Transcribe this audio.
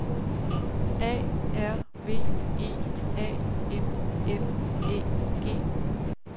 A R V E A N L Æ G